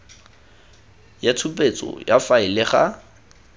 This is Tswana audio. ya tshupetso ya faele ga